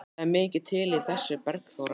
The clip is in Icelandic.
Það er mikið til í þessu, Bergþóra.